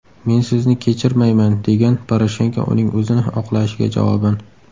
Men sizni kechirmayman”, degan Poroshenko uning o‘zini oqlashiga javoban.